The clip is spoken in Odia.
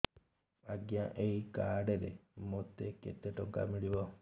ଆଜ୍ଞା ଏଇ କାର୍ଡ ରେ ମୋତେ କେତେ ଟଙ୍କା ମିଳିବ